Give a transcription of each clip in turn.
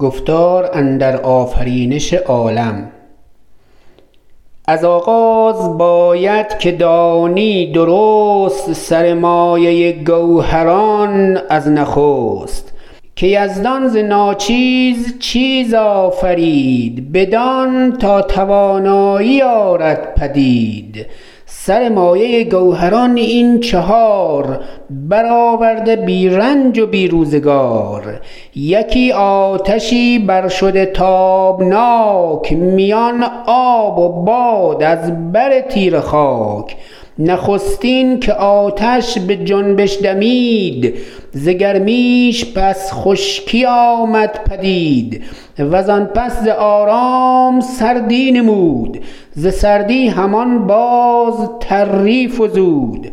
از آغاز باید که دانی درست سر مایه گوهران از نخست که یزدان ز ناچیز چیز آفرید بدان تا توانایی آرد پدید سر مایه گوهران این چهار برآورده بی رنج و بی روزگار یکی آتشی بر شده تابناک میان آب و باد از بر تیره خاک نخستین که آتش به جنبش دمید ز گرمیش پس خشکی آمد پدید و زان پس ز آرام سردی نمود ز سردی همان باز تری فزود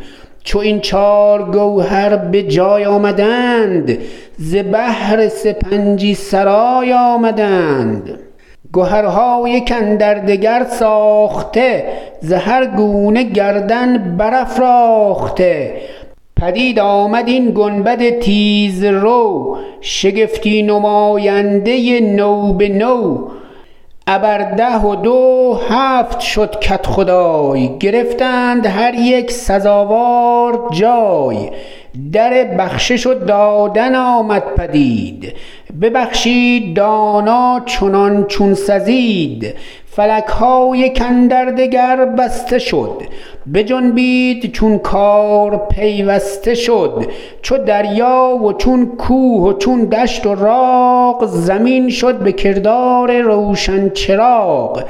چو این چار گوهر به جای آمدند ز بهر سپنجی سرای آمدند گهرها یک اندر دگر ساخته ز هر گونه گردن برافراخته پدید آمد این گنبد تیز رو شگفتی نماینده نو به نو ابر ده و دو هفت شد کدخدای گرفتند هر یک سزاوار جای در بخشش و دادن آمد پدید ببخشید دانا چنان چون سزید فلک ها یک اندر دگر بسته شد بجنبید چون کار پیوسته شد چو دریا و چون کوه و چون دشت و راغ زمین شد به کردار روشن چراغ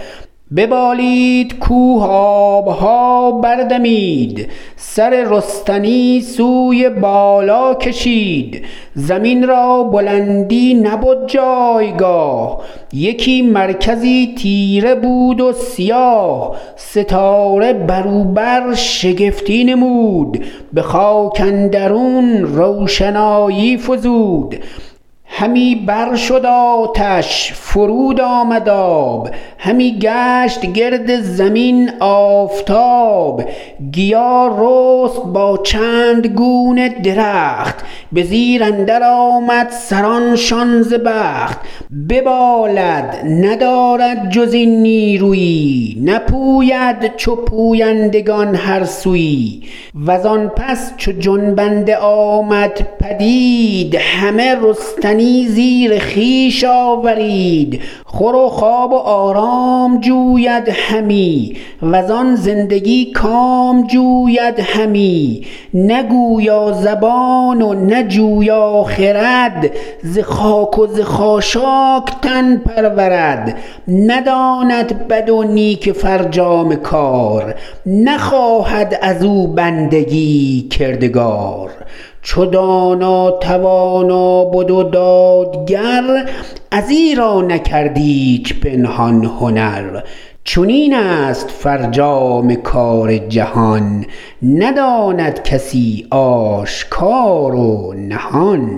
ببالید کوه آب ها بر دمید سر رستنی سوی بالا کشید زمین را بلندی نبد جایگاه یکی مرکزی تیره بود و سیاه ستاره بر او برشگفتی نمود به خاک اندرون روشنایی فزود همی بر شد آتش فرود آمد آب همی گشت گرد زمین آفتاب گیا رست با چند گونه درخت به زیر اندر آمد سران شان ز بخت ببالد ندارد جز این نیرویی نپوید چو پویندگان هر سویی و زان پس چو جنبنده آمد پدید همه رستنی زیر خویش آورید خور و خواب و آرام جوید همی و زان زندگی کام جوید همی نه گویا زبان و نه جویا خرد ز خاک و ز خاشاک تن پرورد نداند بد و نیک فرجام کار نخواهد از او بندگی کردگار چو دانا توانا بد و دادگر از ایرا نکرد ایچ پنهان هنر چنین است فرجام کار جهان نداند کسی آشکار و نهان